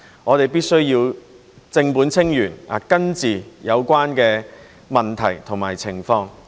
我們必須正本清源，根治有關的問題和情況。